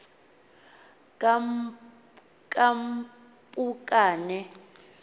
kampukane